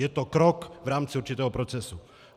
Je to krok v rámci určitého procesu.